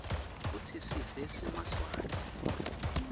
kutsi sive semaswati